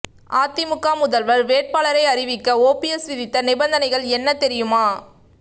அதிமுக முதல்வர் வேட்பாளரை அறிவிக்க ஓபிஎஸ் விதித்த நிபந்தனைகள் என்ன தெரியுமா